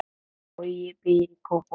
Bogi býr í Kópavogi.